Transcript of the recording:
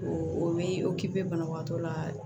O bɛ banabagatɔ la